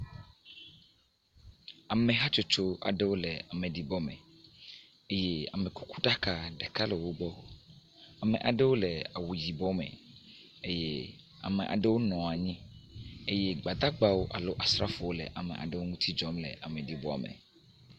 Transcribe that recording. Ame hatsotso aɖewo le ameɖibɔme eye amekukuɖaka ɖeka le wogbɔ, Ame aɖewo le awu yibɔ me eye ame aɖewo nɔ anyi eye gbadagbawo alo asrafowo le ame aɖe ŋuti dzɔm le ameɖibɔame.